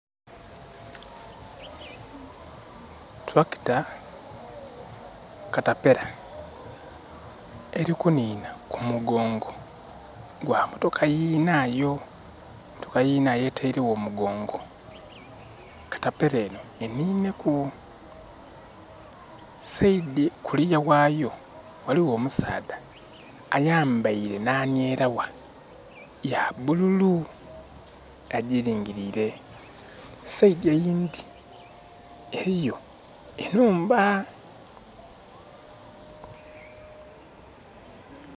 Tractor caterpillar, eli kunhinha ku mugongo gwa motoka yinaayo. Motoka yinaayo etaile gho omugongo caterpillar enho enhinhe ku. Side kuliya ghayo ghaligho omusaadha ayambaile nhanhyeragha ya bululu agiringiriire. Side eyindhi eliyo enhumba.